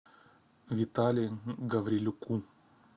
витале гаврилюку